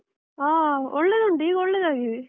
ಹಾ ಒಳ್ಳೆದುಂಟು ಈಗ ಒಳ್ಳೇದಾಗಿದೆ.